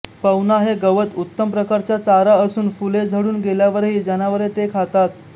पवना हे गवत उत्तम प्रकारचा चारा असून फुले झडून गेल्यावरही जनावरे ते खातात